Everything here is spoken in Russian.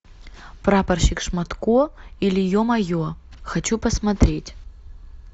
прапорщик шматко или е мае хочу посмотреть